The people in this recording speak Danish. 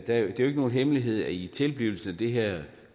er jo ikke nogen hemmelighed at i tilblivelsen af det her